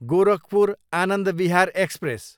Gorakhpur, Anand Vihar express